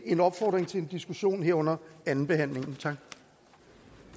en opfordring til en diskussion her under andenbehandlingen